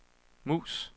mus